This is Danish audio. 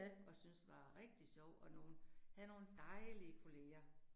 Og syntes var rigtig sjovt, og nogle havde nogle dejlig kollegaer